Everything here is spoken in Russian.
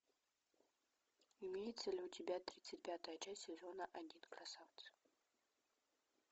имеется ли у тебя тридцать пятая часть сезона один красавцы